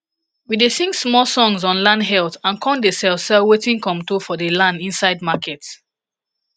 we dey sing small songs on land health and com dey sell sell wetin comto for the land insid market